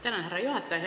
Tänan, härra juhataja!